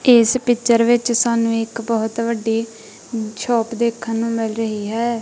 ਇਸ ਪਿੱਚਰ ਵਿੱਚ ਸਾਨੂੰ ਇੱਕ ਬਹੁਤ ਵੱਡੀ ਛੱਤ ਦੇਖਣ ਨੂੰ ਮਿਲ ਰਹੀ ਹੈ।